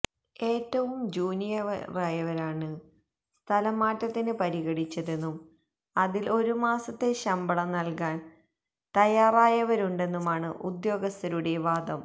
ഏറ്റവും ജൂനിയറായവരെയാണ് സ്ഥലം മാറ്റത്തിന് പരിഗണിച്ചതെന്നും അതില് ഒരു മാസത്തെ ശമ്പളം നല്കാന് തയാറായവരുണ്ടെന്നുമാണ് ഉദ്യോഗസ്ഥരുടെ വാദം